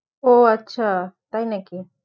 ও আচ্ছা তাই নাকি